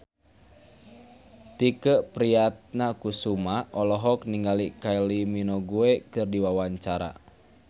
Tike Priatnakusuma olohok ningali Kylie Minogue keur diwawancara